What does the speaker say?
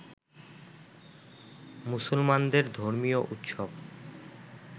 মুসলমানদের ধর্মীয় উৎসব